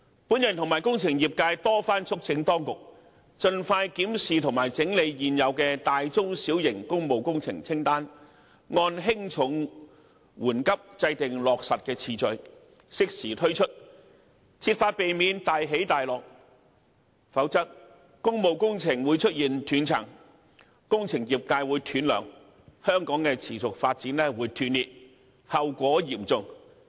本人與工程業界多番促請當局盡快檢視及整理現有的大、中、小型工務工程清單，按輕重、緩急制訂落實次序，適時推出，設法避免"大起大落"，否則工務工程會出現斷層、工程業界會"斷糧"、香港持續發展會斷裂，後果嚴重。